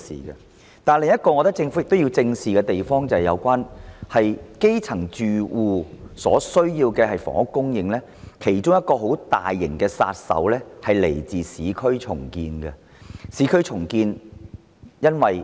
然而，我認為政府另一項要正視之處是就基層住戶所需的房屋供應而言，其中一種巨大阻力是來自市區重建。